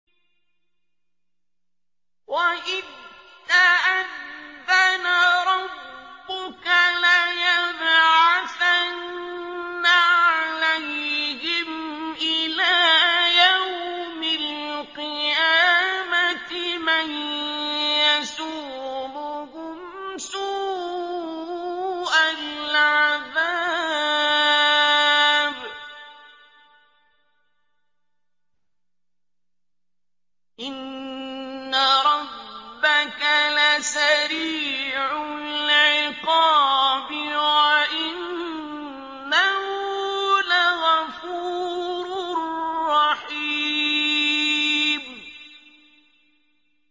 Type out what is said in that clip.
وَإِذْ تَأَذَّنَ رَبُّكَ لَيَبْعَثَنَّ عَلَيْهِمْ إِلَىٰ يَوْمِ الْقِيَامَةِ مَن يَسُومُهُمْ سُوءَ الْعَذَابِ ۗ إِنَّ رَبَّكَ لَسَرِيعُ الْعِقَابِ ۖ وَإِنَّهُ لَغَفُورٌ رَّحِيمٌ